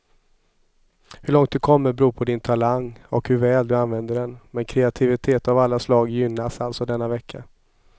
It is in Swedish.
Hur långt du kommer beror på din talang och hur väl du använder den, men kreativitet av alla slag gynnas alltså denna vecka.